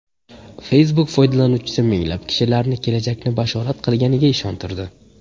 Facebook foydalanuvchisi minglab kishilarni kelajakni bashorat qilganiga ishontirdi.